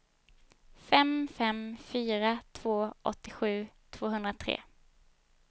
fem fem fyra två åttiosju tvåhundratre